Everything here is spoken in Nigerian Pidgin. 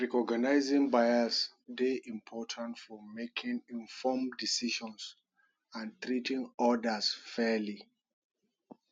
recognizing bias dey important for making informed decisions and treating odas fairly